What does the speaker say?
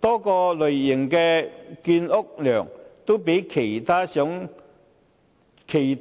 多個類型的建屋量，也較